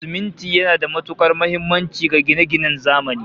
Siminti yana da matukar muhimmanci ga gine-ginen zamani